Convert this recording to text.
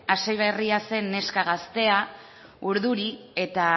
hasiberria zen neska gaztea urduri eta